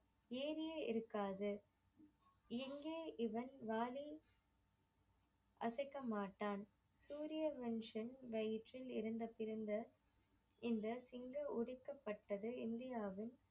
ஏரியே இருக்காது எங்கே இவன் வாலை அசைக்கமாட்டான் சூரிய மனுஷன் வயிற்றில் இருந்து பிறந்த இந்த திங்கள் உதிக்கபட்டது இந்தியாவில்